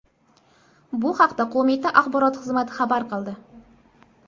Bu haqda qo‘mita axborot xizmati xabar qildi .